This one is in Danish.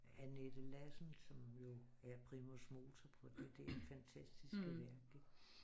Annette Lassen som jo er primus motor på det der fantastiske værk ikke